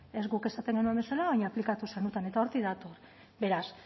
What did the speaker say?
ez guk esaten genuen bezala baina aplikatu zenuten eta hortik dator beraz